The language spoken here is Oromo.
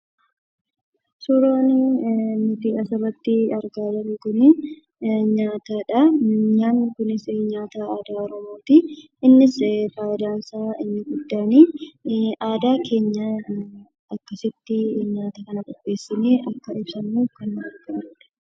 Suuraan nuti asirratti argaa jirru kunii nyaatadhaa. Nyaatni kunis nyaata aadaa Oromootii. Innis faayidaan isaa inni guddaani, aadaa keenya akkasitti nyaata qopheessinee akka fayyadamnuuf kan nu gargaarudha.